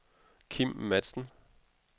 Kim Matzen